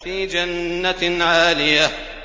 فِي جَنَّةٍ عَالِيَةٍ